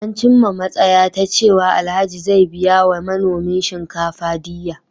An cimma matsaya ta cewa Alhaji zai biya wa manomin shinkafa diyya.